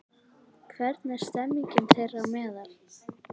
Hvernig er stemmingin þeirra á meðal?